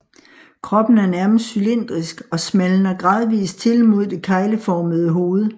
Kroppen er nærmest cylindrisk og smalner gradvist til mod det kegleformede hoved